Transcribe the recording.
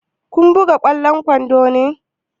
Kun buga ƙwallon kwando ne?